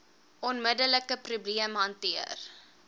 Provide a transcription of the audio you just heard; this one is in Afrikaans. onmiddelike probleem hanteer